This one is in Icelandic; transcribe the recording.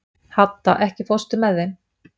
Hadda, ekki fórstu með þeim?